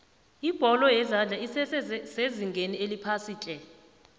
ibholo yezandla esese sezingeni eliphasiitle